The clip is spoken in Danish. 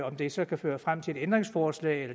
om det så kan føre frem til et ændringsforslag